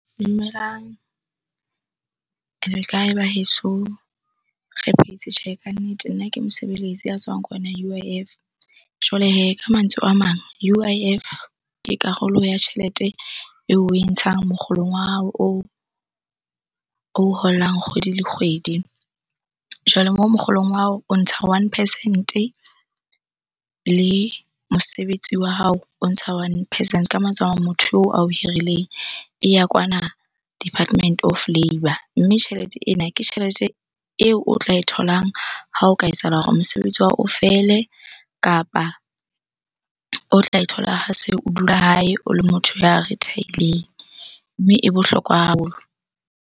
Dumelang, le kae baheso? Re phetse tjhe ka nnete. Nna ke mosebeletsi a tswang kwana U_I_F. Jwale hee, ka mantswe a mang U_I_F ke karolo ya tjhelete eo oe ntshang mokgolong wa hao oo o kgolang kgwedi le kgwedi. Jwale mo mokgolong wa hao, o ntsha one percent-e le mosebetsi wa hao o ntsha one percent. Ka mantswe a mang, motho oo ao hirileng e ya kwana Department of Labour. Mme tjhelete ena ke tjhelete eo o tla e tholang ha o ka etsahala hore mosebetsi wa hao o fele kapa o tla e thola ha se o dula hae, o le motho ya retire-ileng. Mme e bohlokwa haholo.